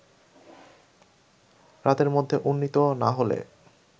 রাতের মধ্যে উন্নতি না হলে